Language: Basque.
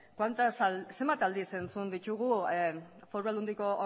zenbat aldiz entzun ditugu foru aldundiko